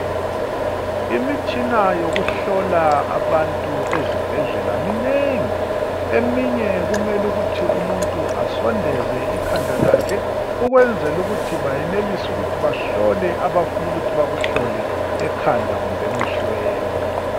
Imitshina yokuhlola abantu ezibhedlela minengi. Eminye kumele ukuthi umuntu asondeze ikhanda lakhe ukwenzela ukuthi bayenelise ukuthi bahlole abafuna ukuthi bakuhlole ekhanda kumbe emehlweni.